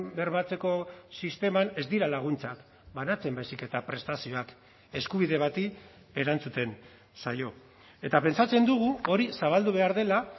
bermatzeko sisteman ez dira laguntzak banatzen baizik eta prestazioak eskubide bati erantzuten zaio eta pentsatzen dugu hori zabaldu behar dela